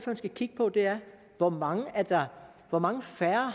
skal kigge på er hvor mange hvor mange færre